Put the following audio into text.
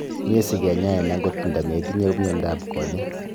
Miei sikenyain angot ndametinyei miondo ab konyek